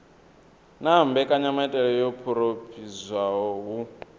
na mbekanyamaitele yo phurophoziwaho hu